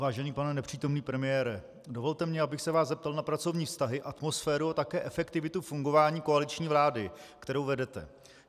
Vážený pane nepřítomný premiére, dovolte mi, abych se vás zeptal na pracovní vztahy, atmosféru a také efektivitu fungování koaliční vlády, kterou vedete.